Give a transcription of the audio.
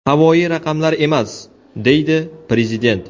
Havoyi raqamlar emas”, – deydi Prezident.